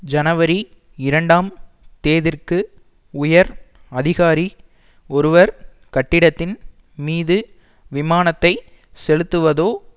ஜனவரி இரண்டாம் தேதிற்கு உயர் அதிகாரி ஒருவர் கட்டிடத்தின் மீது விமானத்தை செலுத்துவதோ